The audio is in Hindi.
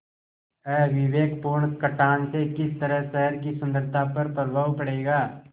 अविवेकपूर्ण कटान से किस तरह शहर की सुन्दरता पर प्रभाव पड़ेगा